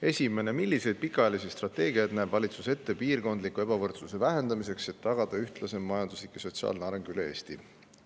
Esimene küsimus: "Milliseid pikaajalisi strateegiaid näeb valitsus ette piirkondliku ebavõrdsuse vähendamiseks, et tagada ühtlasem majanduslik ja sotsiaalne areng üle Eesti?